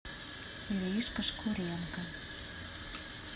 иришка шкуренко